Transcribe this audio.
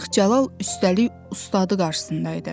Aşıq Cəlal üstəlik ustadı qarşısında idi.